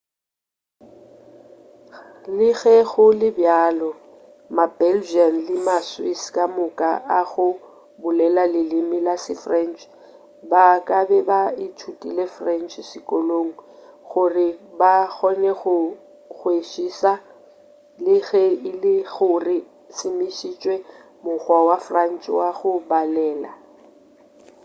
le ge go le bjalo ma-belgian le ma-swiss kamoka a go bolela leleme la se-french ba kabe ba ithutile french sekolong gore ba kgone go go kwešiša le ge e le gore o šomišitše mokgwa wa french wa go balela